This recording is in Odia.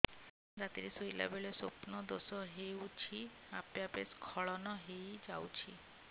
ରାତିରେ ଶୋଇଲା ବେଳେ ସ୍ବପ୍ନ ଦୋଷ ହେଉଛି ଆପେ ଆପେ ସ୍ଖଳନ ହେଇଯାଉଛି